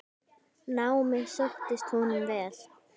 Námið sóttist honum vel.